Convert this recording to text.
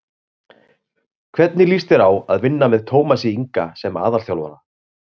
Hvernig líst þér á að vinna með Tómasi Inga sem aðalþjálfara?